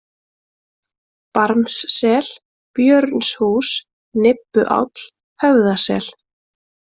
Barmssel, Björnshús, Nibbuáll, Höfðasel